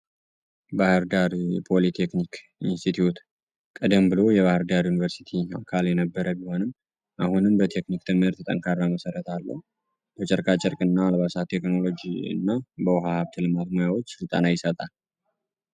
ባህር ዳር ፖሊ ቴክኒክ ቀደም ብሎ የነበረ ቢሆንም አሁንም በቴክኒካል ትምህርት የጨርቃ ጨርቅ እና በአልባሳት ለልጠኝ ተማሪዎች ስልጠና ይሰጣል።